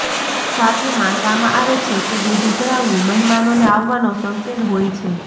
સાથે માનવામાં આવે છે કે દૂધ ઊભરાવવું મહેમાનોને આવવાનો સંકેત હોય છે